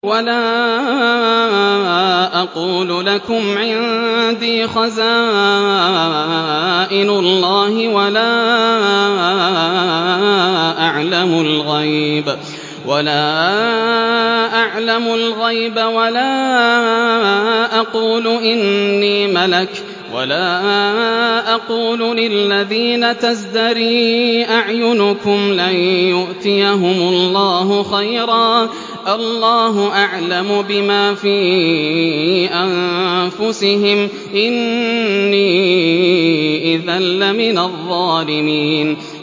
وَلَا أَقُولُ لَكُمْ عِندِي خَزَائِنُ اللَّهِ وَلَا أَعْلَمُ الْغَيْبَ وَلَا أَقُولُ إِنِّي مَلَكٌ وَلَا أَقُولُ لِلَّذِينَ تَزْدَرِي أَعْيُنُكُمْ لَن يُؤْتِيَهُمُ اللَّهُ خَيْرًا ۖ اللَّهُ أَعْلَمُ بِمَا فِي أَنفُسِهِمْ ۖ إِنِّي إِذًا لَّمِنَ الظَّالِمِينَ